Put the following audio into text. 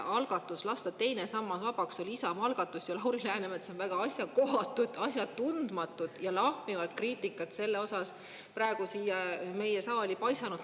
Algatus lasta teine sammas vabaks oli Isamaa algatus ja Lauri Läänemets on väga asjakohatut, asjatundmatut ja lahmivat kriitikat selle osas praegu siia meie saali paisanud.